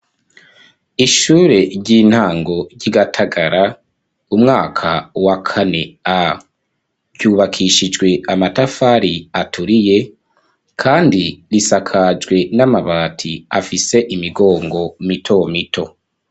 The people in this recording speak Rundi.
Ishure ry'intango ry'igatagara umwaka wa kane a byubakishijwe amatafari aturiye kandi risakajwe n'amabati afise imigongo mito mito.